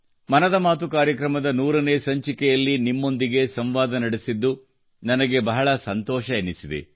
ಮನದ ಮಾತು ಕಾರ್ಯಕ್ರಮದ 100 ನೇ ಸಂಚಿಕೆಯಲ್ಲಿ ನಿಮ್ಮೊಂದಿಗೆ ಸಂವಾದ ನಡೆಸಿದ್ದು ನನಗೆ ಬಹಳ ಸಂತೋಷವೆನಿಸಿದೆ